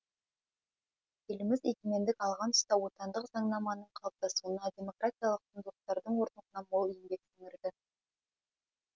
еліміз егемендік алған тұста отандық заңнаманың қалыптасуына демократиялық құндылықтардың орнығуына мол еңбек сіңірді